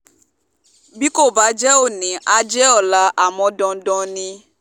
bí kò bá jẹ́ òní àá jẹ́ ọ̀la àmọ́ dandan ni